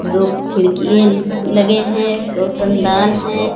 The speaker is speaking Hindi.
दो खिड़कियें लगे है रौशनदान हैं।